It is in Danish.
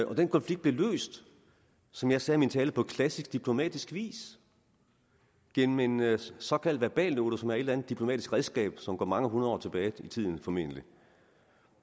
og den konflikt blev løst som jeg sagde i min tale på klassisk diplomatisk vis gennem en såkaldt verbalnote som er et eller andet diplomatisk redskab som formentlig går mange hundrede år tilbage i tiden